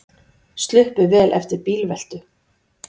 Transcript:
Sluppu vel eftir bílveltu